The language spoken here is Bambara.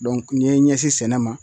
n ye n ɲɛsin sɛnɛ ma